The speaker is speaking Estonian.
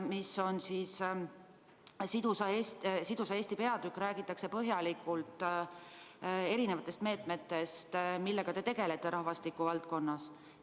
Sidusa Eesti arengukavas räägitakse põhjalikult erinevatest meetmetest, millega te tegelete rahvastiku valdkonnas.